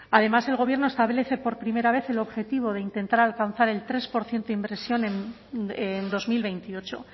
además el gobierno establece por primera vez el objetivo de intentar alcanzar el tres por ciento de inversión en dos mil veintiocho